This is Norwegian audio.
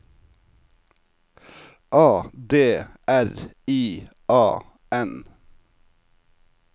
A D R I A N